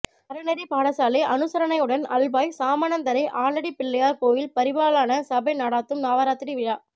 அறநெறிப் பாடசாலை அனுசரணையுடன் அல்வாய் சாமணந்தறை ஆலடிப்பிள்ளையார் கோயில் பரிபாலன சபை நடாத்தும் நவராத்திரி விழா